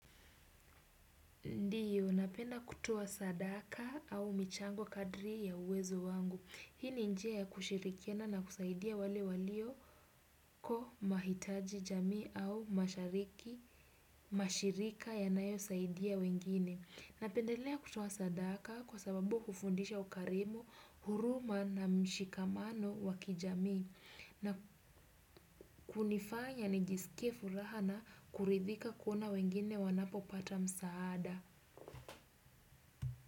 Ndiyo, napenda kutoa sadaka au michango kadri ya uwezo wangu. Hii ni njia ya kushirikiana na kusaidia wale walioko mahitaji jamii au mashirika yanayosaidia wengine. Napendelea kutoa sadaka kwa sababu hufundisha ukarimu huruma na mshikamano wa kijamii hunifanya nijiskie furaha na kuridhika na kuona wengine wanapopata msaada.